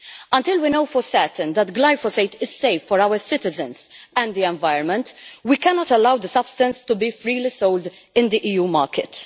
Until we know for certain that glyphosate is safe for our citizens and the environment, we cannot allow this substance to be freely sold in the EU market.